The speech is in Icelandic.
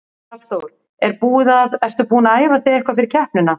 Hafþór: Er búið að, ertu búin að æfa þig eitthvað fyrir keppnina?